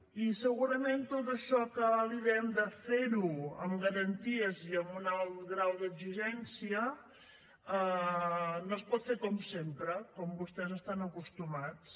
i segurament tot això que li diem de fer ho amb garanties i amb un alt grau d’exigència no es pot fer com sempre com vostès hi estan acostumats